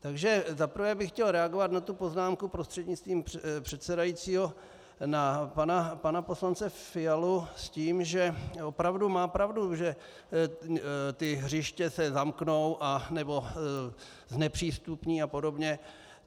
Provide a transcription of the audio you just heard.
Takže za prvé bych chtěl reagovat na tu poznámku prostřednictvím předsedajícího na pana poslance Fialu s tím, že opravdu má pravdu, že ta hřiště se zamknou nebo znepřístupní a podobně.